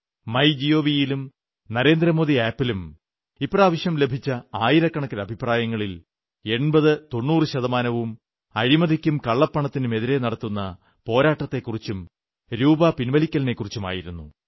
my gov ലും Narendra Modi app ലും ഇപ്രാവശ്യം ലഭിച്ച ആയിരക്കണക്കിന് അഭിപ്രായങ്ങളിൽ 8090 ശതമാനവും അഴിമതിക്കും കള്ളപ്പണമത്തിനുമെതിരെ നടത്തുന്ന പോരാട്ടത്തെക്കുറിച്ചും രൂപാ പിൻവലിക്കലിനെക്കുറിച്ച് ആയിരുന്നു